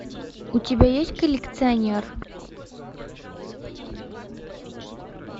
у тебя есть коллекционер